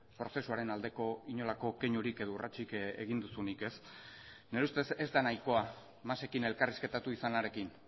prozesuaren aldeko inolako keinurik edo urratsik egin duzunik ez nire ustez ez da nahikoa masekin elkarrizketatu izanarekin